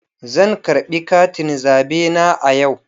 Zan karɓi katin zabe na a yau.